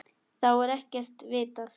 Þá er ekkert vitað.